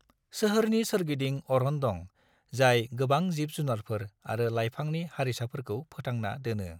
सोहोरनि सोरगिदिं अरन दं जाय गोबां जिब-जुनारफोर आरो लाइफांनि हारिसाफोरखौ फोथांना दोनो।